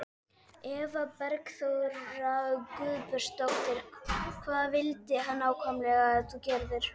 Eva Bergþóra Guðbergsdóttir: Hvað vildi hann nákvæmlega að þú gerðir?